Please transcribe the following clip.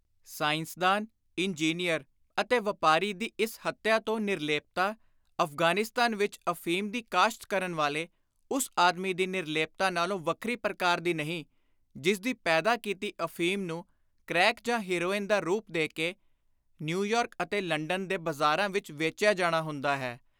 ਸਾਇੰਸਦਾਨ, engineer ਅਤੇ ਵਾਪਾਰੀ ਦੀ ਇਸ ਹੱਤਿਆ ਤੋਂ ਨਿਰਲੇਪਤਾ, ਅਫ਼ਗ਼ਾਨਿਸਤਾਨ ਵਿਚ ਅਫ਼ੀਮ ਦੀ ਕਾਸ਼ਤ ਕਰਨ ਵਾਲੇ ਉਸ ਆਦਮੀ ਦੀ ਨਿਰਲੇਪਤਾ ਨਾਲੋਂ ਵੱਖਰੀ ਪ੍ਰਕਾਰ ਦੀ ਨਹੀਂ, ਜਿਸਦੀ ਪੈਦਾ ਕੀਤੀ ਅਫ਼ੀਮ ਨੂੰ ਕ੍ਰੈਕ ਜਾਂ ਹੈਰੋਇਨ ਦਾ ਰੁਪ ਦੇ ਕੇ ਨਿਊਯਾਰਕ ਅਤੇ ਲੰਡਨ ਦੇ ਬਾਜ਼ਾਰਾਂ ਵਿਚ ਵੇਚਿਆ ਜਾਣਾ ਹੁੰਦਾ ਹੈ।